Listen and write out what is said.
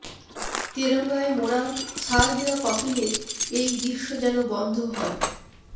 তেরঙ্গায় মোড়া সার দেওয়া কফিনের এই দৃশ্য যেন বন্ধ হয়